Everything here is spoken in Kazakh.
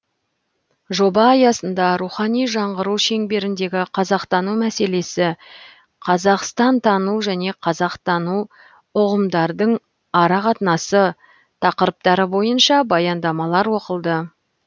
жоба аясында рухани жаңғыру шеңберіндегі қазақтану мәселесі қазақстантану және қазақтану ұғымдардың арақатынасы тақырыптары бойынша баяндамалар оқылды